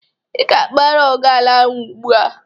Ị ga-agba rọg a n'anwụ ugbu a!